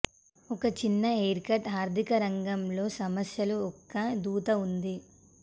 ఒక చిన్న హ్యారీకట్ ఆర్థిక రంగం లో సమస్యలు యొక్క దూత ఉంది